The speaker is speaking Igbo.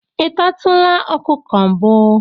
ị tatụla ọkụkọ mbụ